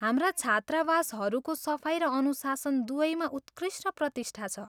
हाम्रा छात्रावासहरूको सफाइ र अनुशासन दुवैमा उत्कृष्ट प्रतिष्ठा छ।